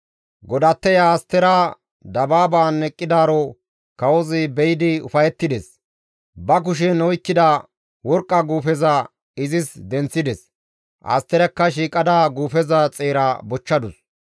Godatteya Astera dabaaban eqqidaaro kawozi be7idi ufayettides. Ba kushen oykkida worqqa guufeza izis denththides; Asterakka shiiqada guufeza xeera bochchadus.